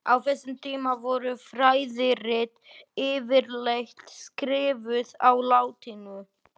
Á þessum tíma voru fræðirit yfirleitt skrifuð á latínu.